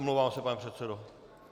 Omlouvám se, pane předsedo.